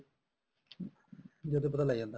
ਜਦੇ ਪਤਾ ਲੱਗ ਜਾਂਦਾ